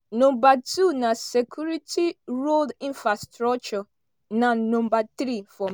number two na security road infrastructure na number three for.